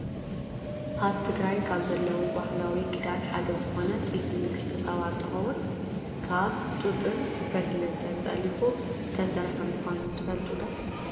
ኣብ ትግራይ ካብ ዘለው ባህላዊ ክዳን ሓደ ዝኮነ ጥልፊ ንግስተ ሰባ እንትከውን ካብ ጡጥን ፈትልን ተጠሊፉ ዝተሰረሓ ምኳኑ ትፈልጡ ዶ ?